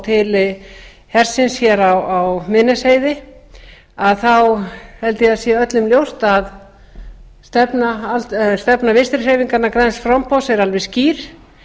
til hersins hér á miðnesheiði þá held ég að sé öllum ljóst að stefna vinstri hreyfingarinnar græns framboðs er alveg skýr